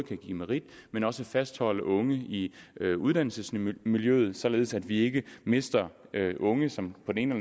kan give merit men også fastholde unge i uddannelsesmiljøet således at vi ikke mister unge som på den ene